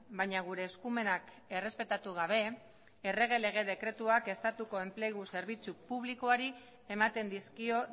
baina gure eskumenak errespetatu gabe errege lege dekretuak estatuko enplegu zerbitzu publikoari ematen dizkio